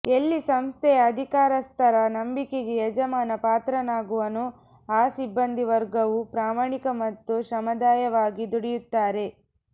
ಎಲ್ಲಿ ಸಂಸ್ಥೆಯ ಅಧಿಕಾರಸ್ಥರ ನಂಬಿಕೆಗೆ ಯಜಮಾನ ಪಾತ್ರನಾಗುವನೋ ಆ ಸಿಬ್ಬಂದಿವರ್ಗವೂ ಪ್ರಾಮಾಣಿಕ ಮತ್ತು ಶ್ರಮದಾಯವಾಗಿ ದುಡಿಯುತ್ತಾರೆ